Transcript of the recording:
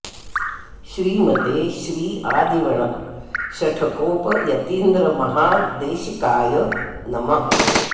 श्रीमते श्री आदिवण् शठकोप यतीन्द्र महा देशिकाय नमः